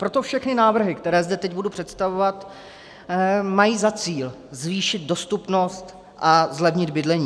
Proto všechny návrhy, které zde teď budu představovat, mají za cíl zvýšit dostupnost a zlevnit bydlení.